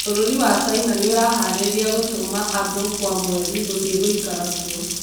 Bũrũri wa Caina nĩ ũrehaarĩria gũtũma andũ kwa mweri guthiĩ guikara kuo